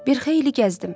Bir xeyli gəzdim.